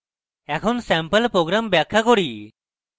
এখন sample program ব্যাখ্যা করি